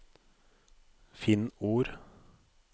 Finn ord